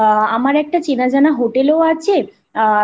আমার একটা চেনা জানা হোটেলও আছে আ